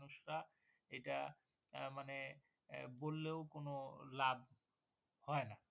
মানে বললেও কোন লাভ হয় না